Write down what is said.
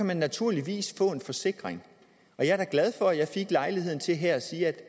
man naturligvis få en forsikring jeg er da glad for at jeg fik lejligheden til her at sige at